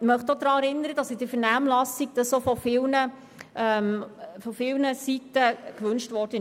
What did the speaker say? Ich möchte daran erinnern, dass dies in der Vernehmlassung von vielen Seiten gewünscht wurde.